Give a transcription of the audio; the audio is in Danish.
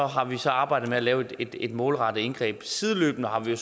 har vi så arbejdet med at lave et målrettet indgreb og sideløbende har vi